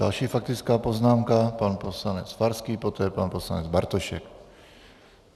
Další faktická poznámka, pan poslanec Farský, poté pan poslanec Bartošek.